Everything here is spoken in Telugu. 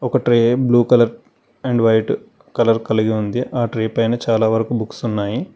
ఒక tray blue colour and white colour కలిగి ఉంది ఆ ట్రే పైన చాలా వరకు బుక్స్ ఉన్నాయి.